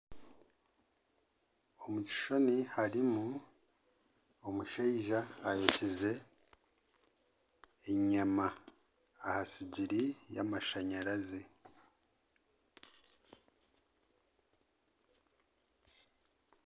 Omu kishushani harimu omushaija ayokize enyama aha sigiri yamashanyarazi